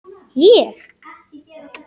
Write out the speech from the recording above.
Ég?!